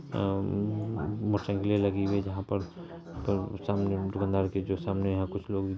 अअ मोटरसाइकिले लगी हुई है जहां पर सामने दुकानदार के जो सामने यहाँ कुछ लोग --